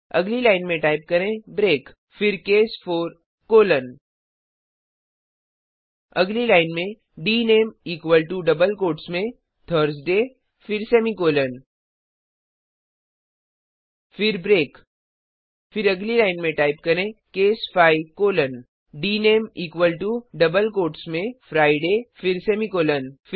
अगली लाइन में टाइप करें ब्रेक फिरcase 4कोलोन अगली लाइन में डीनामीक्वल टो डबल कोट्स में थर्सडे फिर सेमीकॉलन 000332 000323 फिर ब्रेक फिर अगली लाइन में टाइप करें case 5 colon dname equal to double quotes में फ्रिडे फिर सेमीकॉलन